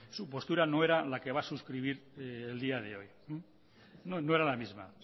su postura no era la que va a suscribir el día de hoy no no era la misma